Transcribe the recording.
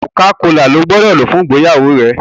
Coca-cola ló gbódò lò fún ìgbéyàwó rẹ!